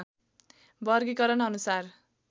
वर्गिकरण अनुसार